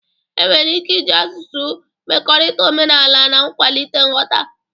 Enwere ike iji asụsụ mekọrịta omenala na ịkwalite nghọta